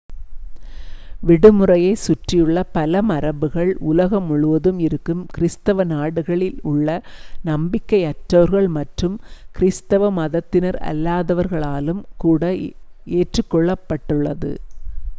விடுமுறையைச் சுற்றியுள்ள பல மரபுகள் உலகம் முழுவதும் இருக்கும் கிறிஸ்தவ நாடுகளில் உள்ள நம்பிக்கை-அற்றவர்கள் மற்றும் கிறிஸ்தவ மதத்தினரல்லாதவர்களாலும் கூட ஏற்றுக்கொள்ளப்பட்டுள்ளது